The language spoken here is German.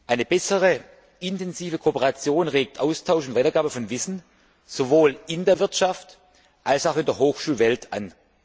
Eine bessere, intensivere Kooperation regt Austausch und Weitergabe von Wissen sowohl in der Wirtschaft als auch in der Hochschulwelt an.